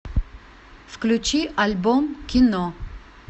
включи альбом кино